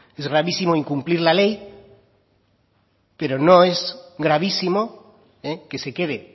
es gravísimo incumplir la ley pero no es gravísimo que se quede